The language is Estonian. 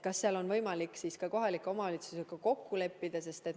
Kas seal on võimalik kohalike omavalitsustega kokku leppida?